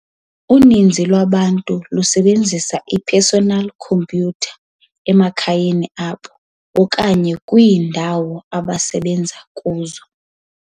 Uninzi lwabantu lusebenzisa i-personal computer emakhayeni abo okanye kwiindawo abasebenza kuzo.